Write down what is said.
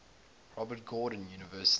robert gordon university